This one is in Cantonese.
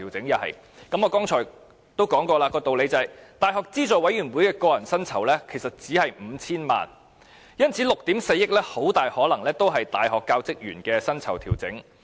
同樣，根據我剛才已提出的道理，教資會的個人薪酬支出只是 5,000 萬元，因此 ，6 億 4,000 萬元中大部分很可能是用於大學教職員的薪酬調整。